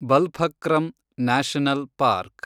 Balphakram National park